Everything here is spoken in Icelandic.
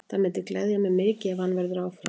Það myndi gleðja mig mikið ef hann verður áfram.